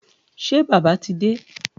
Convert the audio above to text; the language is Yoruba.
Ṣé Bàbá ti dé?